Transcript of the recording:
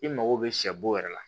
I mago bɛ sɛ bo yɛrɛ la